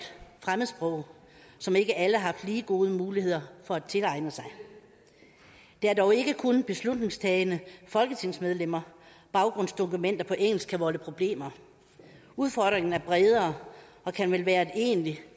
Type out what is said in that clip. fremmedsprog som ikke alle har haft lige gode muligheder for at tilegne sig det er dog ikke kun beslutningstagende folketingsmedlemmer baggrundsdokumenter på engelsk kan volde problemer udfordringen er bredere og kan vel være et egentligt